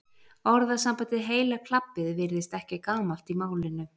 orðasambandið heila klabbið virðist ekki gamalt í málinu